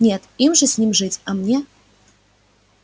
нет им же с ним жить а мне